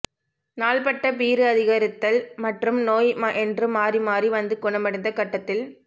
நாள்பட்ட பீறு அதிகரித்தல் மற்றும் நோய் என்று மாறி மாறி வந்து குணமடைந்த கட்டத்தில்